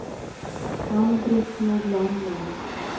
Ann-Britt Nordlander